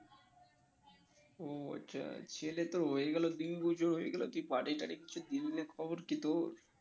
ও আচ্ছা ছেলে তো হয়ে গেলো তুই party টাটি কিছু দিবি না খবর কি তোর?